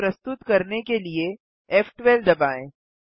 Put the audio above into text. scene प्रस्तुत करने के लिए फ़12 दबाएँ